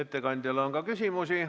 Ettekandjale on ka küsimusi.